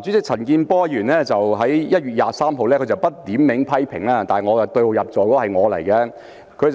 主席，陳健波議員在1月23日不點名批評，但對號入座的是我。